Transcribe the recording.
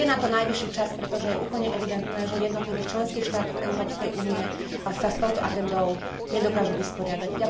Je na to najvyšší čas, pretože je úplne evidentné, že v jednotlivých členských štátoch Európskej únie sa s touto agendou nedokážu vysporiadať.